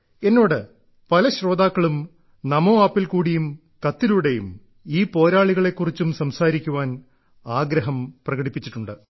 എന്നോട് പല ശ്രോതാക്കളും നമോ ആപ്പിൽ കൂടിയും കത്തിലൂടെയും ഈ പോരാളികളെ കുറിച്ചും സംസാരിക്കുവാൻ ആഗ്രഹം പ്രകടിപ്പിച്ചിട്ടുണ്ട്